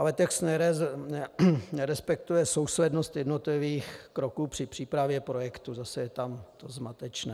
Ale text nerespektuje souslednost jednotlivých kroků při přípravě projektu, zase je to tam zmatečné.